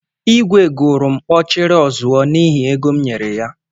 Igwé gụrụ m "Ọchịrị ọzuọ" n'ihi égo m nyere ya